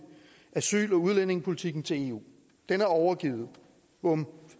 asyl og udlændingepolitikken til eu den er overgivet bum